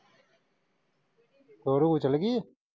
ਹੋਰ ਉਹ ਚਲੇਗੀ।